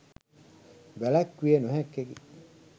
වැළැක්විය නොහැක්කකි.